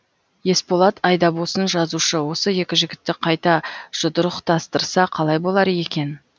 есболат айдабосын жазушы осы екі жігітті қайта жұдырықтастырса қалай болар екен